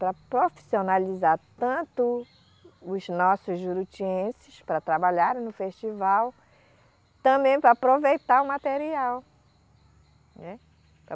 Para profissionalizar tanto os nossos jurutienses para trabalharem no festival, também para aproveitar o material, né.